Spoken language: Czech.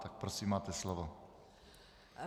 Má. Prosím, máte slovo.